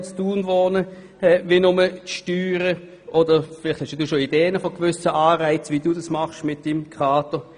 Hat Raphael Lanz schon Ideen, welche Anreize er für die Kaderleute der Stadt Thun einsetzen könnte?